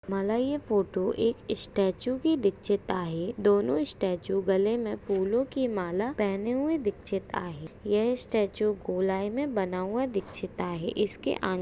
मला हे फोटो एक स्टेचू कि दिक्चीत आहे दोनो स्टेचू गले मे फूलो की माला पहने हुये दिक्चीत आहे यह स्टेचू गोलाई मे बना हुआ दिक्चीत आहे इस के आ--